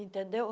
Entendeu?